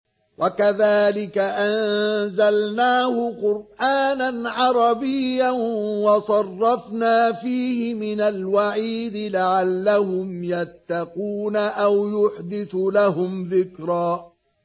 وَكَذَٰلِكَ أَنزَلْنَاهُ قُرْآنًا عَرَبِيًّا وَصَرَّفْنَا فِيهِ مِنَ الْوَعِيدِ لَعَلَّهُمْ يَتَّقُونَ أَوْ يُحْدِثُ لَهُمْ ذِكْرًا